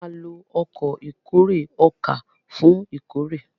a má ló Ọkọ̀ ìkórè ọkà fún ìkórè.